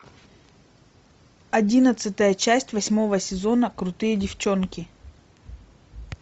одиннадцатая часть восьмого сезона крутые девчонки